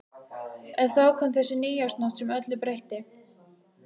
En þá kom þessi nýársnótt sem öllu breytti.